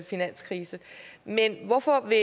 finanskrise men hvorfor vil